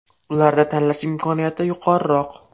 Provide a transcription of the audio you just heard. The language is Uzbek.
Ularda tanlash imkoniyati yuqoriroq.